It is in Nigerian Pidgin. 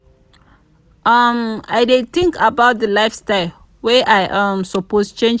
um i dey tink about di lifestyle wey i um suppose change.